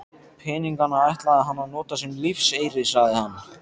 Peningana ætlaði hann að nota sem lífeyri, sagði hann.